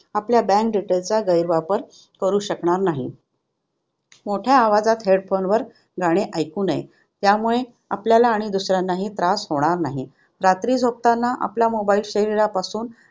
आपल्या bank details चा गैरवापर करू शकणार नाही. मोठ्या आवाजात headphone वर गाणे ऐकू नये. त्यामुळे आपल्याला आणि इतरांना ही त्रास होणार नाही. रात्री झोपताना आपला mobile शरीरापासून